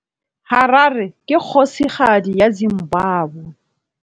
Harare ke kgosigadi ya Zimbabwe.